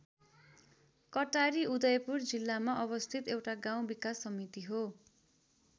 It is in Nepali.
कटारी उदयपुर जिल्लामा अवस्थित एउटा गाउँ विकास समिति हो।